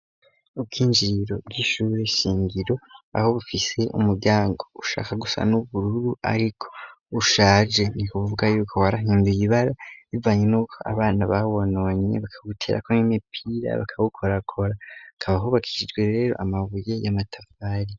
Ubwinjiriro bwishurwe shingiro aho bufise umuryango ushaka gusa n'ubururu, ariko ushaje nikuvuga yuko warahinduye ibara bivanye n' uko abana bawononye bakawuterako ny'mepira bakawukorakora akabahubakishijwe rero amabuye y'amatavari.